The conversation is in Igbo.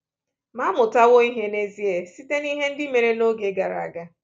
Ma à mụtawo ihe n’ezie site n’ihe ndị mere n’oge gara aga?